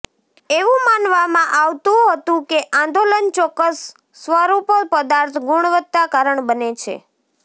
એવું માનવામાં આવતું હતું કે આંદોલન ચોક્કસ સ્વરૂપો પદાર્થ ગુણવત્તા કારણ બને છે